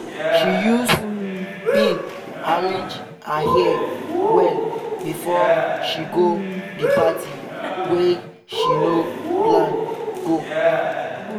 she use pin arrange her hair well before she go the party wey she no plan go.